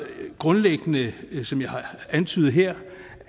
grundlæggende som jeg har antydet her